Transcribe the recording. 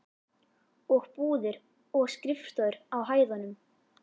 Og búðir og skrifstofur á hæðunum.